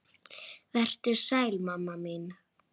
Vertu sæl mamma mín.